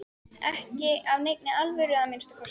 Ekki af neinni alvöru að minnsta kosti.